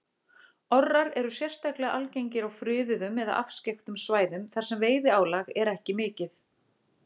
Orrar eru sérstaklega algengir á friðuðum eða afskekktum svæðum þar sem veiðiálag er ekki mikið.